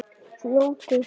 Fljótur nú!